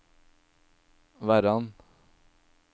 Verran